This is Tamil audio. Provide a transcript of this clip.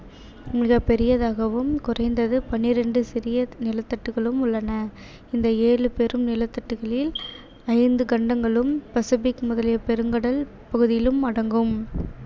மிகப் பெரியதாகவும் குறைந்தது பன்னிரண்டு சிறிய நிலத்தட்டுக்களும் உள்ளன இந்த ஏழு பெரும் நிலத்தட்டுக்களில் ஐந்து கண்டங்களும் பசிபிக் முதலிய பெருங்கடல் பகுதிகளும் அடங்கும்